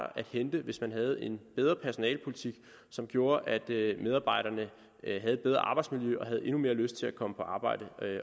at hente hvis man havde en bedre personalepolitik som gjorde at medarbejderne havde et bedre arbejdsmiljø og havde endnu mere lyst til at komme på arbejde